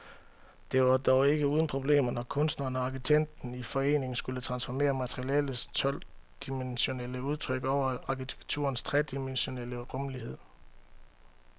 Det var dog ikke uden problemer, når kunstneren og arkitekten i forening skulle transformere maleriets todimensionelle udtryk over i arkitekturens tredimensionelle rumlighed.